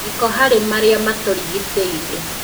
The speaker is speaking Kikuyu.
Gĩko harĩ marĩa matũrigicĩirie